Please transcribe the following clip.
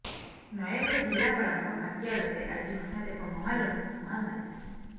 ନୟାଗଡ଼ ଜିଲ୍ଲାପାଳଙ୍କ କାର୍ୟ୍ୟାଳୟରେ ଆଜି ହଠାତ ଏକ ମହଲାରୁ ଧୂଆଁ ବାହାରିଥିଲା